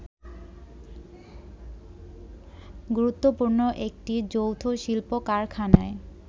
গুরুত্বপূর্ণ একটি যৌথ শিল্প-কারখানায়